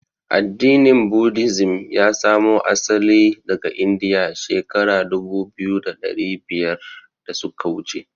Addinin "Buddhism" ya samo asali daga Indiya shekara dubu biyu da ɗari biyar da suka wuce.